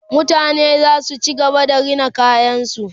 mutane zasu ci gaba da Rina kayan su